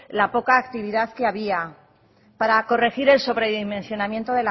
la poca actividad que había para corregir el sobredimensionamiento